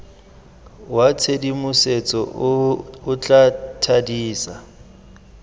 wa tshedimosetso o tla thadisa